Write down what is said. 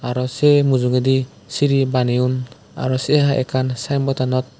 aro sei mujungedi siri baneyon aro sey haai ekkan sign board tanot.